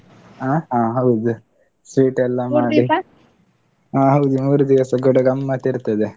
ಹ? ಹ ಹೌದು, sweet ಹ ಹೌದು, ಮೂರು ದಿವಸ ಕೂಡ ಗಮ್ಮತ್ ಇರ್ತದೆ.